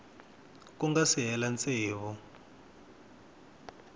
ku nga si hela tsevu